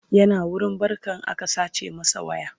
yana wurin barkan aka sace masa waya